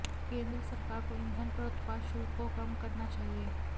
केंद्र सरकार को ईंधन पर उत्पाद शुल्क को कम करना चाहिए